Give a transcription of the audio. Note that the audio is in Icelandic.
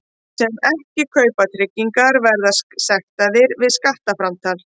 Þeir sem ekki kaupa tryggingar verða sektaðir við skattframtal.